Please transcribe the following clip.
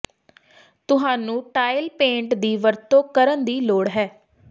ਤੁਹਾਨੂੰ tile paint ਦੀ ਵਰਤੋਂ ਕਰਨ ਦੀ ਲੋੜ ਹੈ